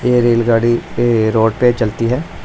ये रेलगाड़ी ये रोड पर चलती है।